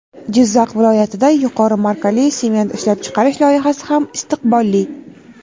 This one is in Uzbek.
Jizzax viloyatida yuqori markali sement ishlab chiqarish loyihasi ham istiqbolli.